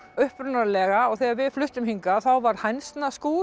upprunalega og þegar við fluttum hingað þá var